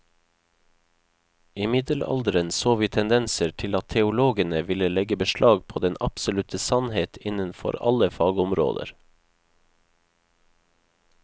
I middelalderen så vi tendenser til at teologene ville legge beslag på den absolutte sannhet innenfor alle fagområder.